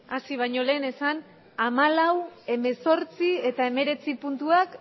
bakoitza zuen eserlekuetan eseri